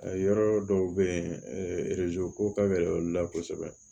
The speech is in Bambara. A yɔrɔ dɔw be yen ko ka gɛlɛn olu la kosɛbɛ